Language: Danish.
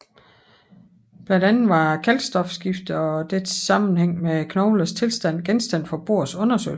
Blandt andet var kalkstofskiftet og dets sammenhæng med knoglernes tilstand genstand for Bohrs undersøgelser